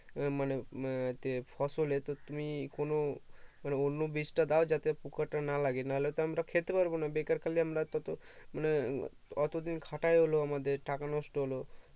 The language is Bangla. মানে ফসলে তো তুমি কোনো মানে অন্য বিষ টা দাও যাতে পোকাটা না লাগে না হলে তো আমরা খেতে পারবো না বেকার খালি আমরা এত তো মানে এতো দিন খাটা হলো আমাদের টাকা নষ্ট হলো